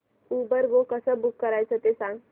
Uber go कसं book करायचं ते सांग